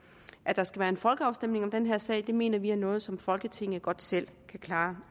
at der skal være en folkeafstemning om den her sag det mener vi er noget som folketinget godt selv kan klare